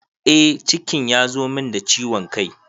Eh cikin ya zo min da ciwon kai